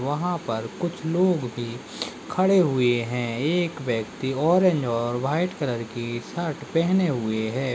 वहाँ पर कुछ लोग भी खड़े हुए है ये एक व्यक्ति ऑरेंज और वाइट कलर की शर्ट पेहने हुए है।